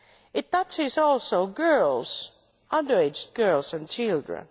It touches also girls underage girls and children.